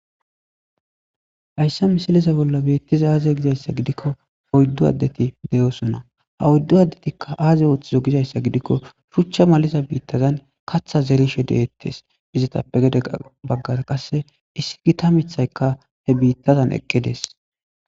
Hayssa misileza bolla beettiza aaze gizayssa gidikko poyddu addeti de'osona ha oyddu addetikka aaze ooththizo gizayssa gidikko shuchcha maliza biittazan katha zerishe deettes izetappe gedega baggara qasse issi gita mithayka he biittazan eqqides.